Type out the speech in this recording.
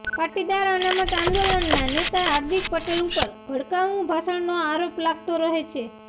પાટીદાર અનામત આંદોલનના નેતા હાર્દિક પટેલ ઉપર ભડકાઉ ભાષણનો આરોપ લાગતો રહે છે